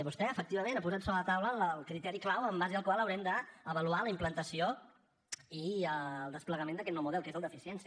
vostè efectivament ha posat sobre la taula el criteri clau en base al qual haurem d’avaluar la implantació i el desplegament d’aquest nou model que és el d’eficiència